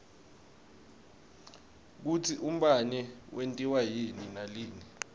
kutsi umbane wentiwa yini nalina